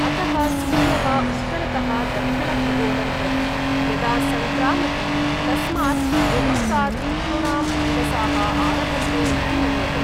अतः सूर्यः उत्तरतः दक्षिणखगोलं प्रति यदा संक्रामति तस्मात् मुहूर्तात् पितॄणां दिवसाः आरभन्ते इति मन्यते।